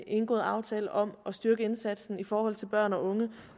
indgået aftale om at styrke indsatsen i forhold til børn og unge